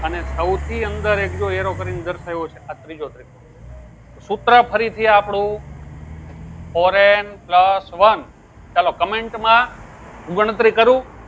અને સવથી અંદર એ બીજો arrow કરી ને દર્શાવ્યો છે તો આ ત્રીજો ત્રિકોણ સુત્ર ફરી થી આપડું ફોરેન પ્લસ વન ચાલો comment માં ગણતરી કરો